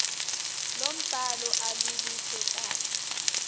lombhalo aluluhle kahle